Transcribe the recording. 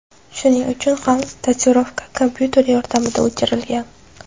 Shuning uchun ham tatuirovka kompyuter yordamida o‘chirilgan.